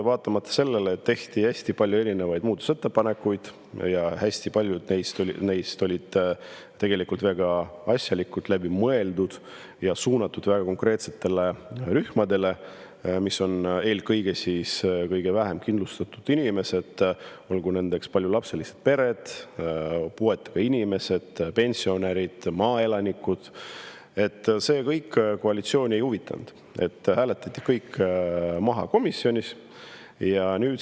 Vaatamata sellele, et tehti hästi palju erinevaid muudatusettepanekuid ja hästi paljud neist olid tegelikult väga asjalikud, läbi mõeldud ja suunatud konkreetsetele rühmadele, eelkõige kõige vähem kindlustatud inimestele, olgu nendeks paljulapselised pered, puuetega inimesed, pensionärid või maaelanikud – see kõik koalitsiooni ei huvitanud, kõik hääletati komisjonis maha.